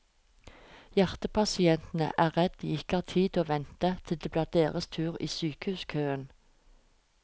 Hjertepasientene er redd de ikke har tid til å vente til det blir deres tur i sykehuskøen.